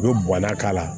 U bɛ bɔnna k'a la